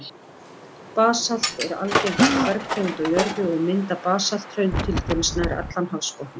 Basalt er algengasta bergtegund á jörðu, og mynda basalthraun til dæmis nær allan hafsbotninn.